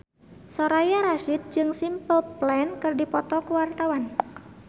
Soraya Rasyid jeung Simple Plan keur dipoto ku wartawan